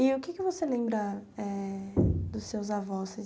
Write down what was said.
E o que você lembra eh dos seus avós?